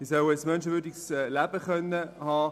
Sie sollen ein menschenwürdiges Leben führen können.